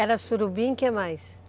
Era surubim, o que mais?